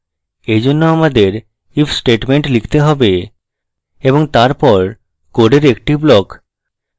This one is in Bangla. এই জন্য আমাদের if statement লিখতে have এবং তারপর code একটি block